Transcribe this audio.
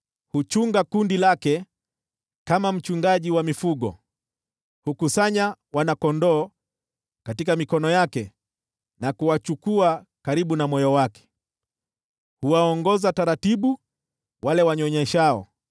Huchunga kundi lake kama mchungaji wa mifugo: Hukusanya wana-kondoo katika mikono yake na kuwachukua karibu na moyo wake, huwaongoza taratibu wale wanyonyeshao.